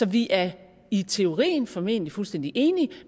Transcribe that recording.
vi er i teorien formentlig fuldstændig enige